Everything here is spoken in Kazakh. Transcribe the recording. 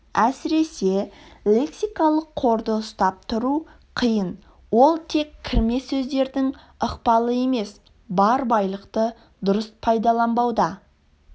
әсіресе лексикалық қорды ұстап тұру қиын ол тек кірме сөздердің ықпалы емес бар байлықты дұрыс пайдаланбауда